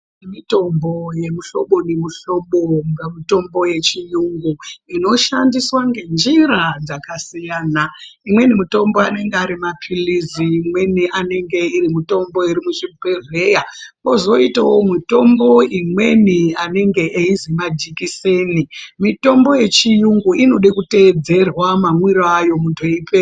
Mitombo yemihlobo nemohlobo inga mitombo yechiyunga inoshandiswa ngenjira dzakasiyana imweni mitombo anenge ari mapilizi imweni anenge iri mitombo iri muzvibhodhleya kwozoitawo mitombo imweni anenge eizi majikiseni mitombo yechiyungu inoda kutedzerwa mamwiro ayo munhu eyipe...